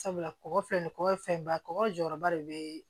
Sabula kɔkɔ filɛ nin kɔ ye fɛn ba ye kɔgɔ jɔyɔrɔba de be